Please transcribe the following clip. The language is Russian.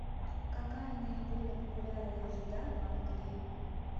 какая наиболее популярная еда в англии